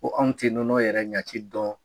Ko anw ti nɔnɔ yɛrɛ ɲaci dɔn.